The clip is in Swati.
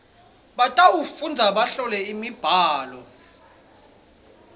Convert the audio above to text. batawufundza bahlole imibhalo